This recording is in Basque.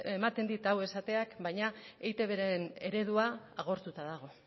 ematen dit hau esateak baina eitbren eredua agortuta dago